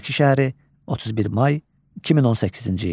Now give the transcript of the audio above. Bakı şəhəri, 31 may 2018-ci il.